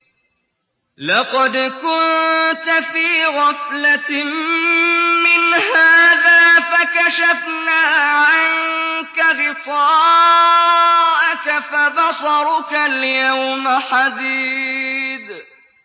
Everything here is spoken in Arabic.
لَّقَدْ كُنتَ فِي غَفْلَةٍ مِّنْ هَٰذَا فَكَشَفْنَا عَنكَ غِطَاءَكَ فَبَصَرُكَ الْيَوْمَ حَدِيدٌ